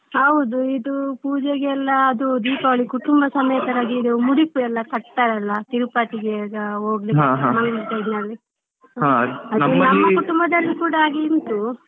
ಹೌದು ಇದು ಪೂಜೆಗೆಲ್ಲ ಅದು ದೀಪಾವಳಿ ಕುಟುಂಬ ಸಮೇತರಾಗಿ ಮುಡಿಪು ಎಲ್ಲ ಕಟ್ತಾರಲ್ಲ ತಿರುಪತಿಗೆ ಈಗ ಹೋಗ್ಲಿಕ್ಕೆ ನಮ್ಮ ಕುಟುಂಬದಲ್ಲಿ ಕೂಡ ಹಾಗೆ ಉಂಟು.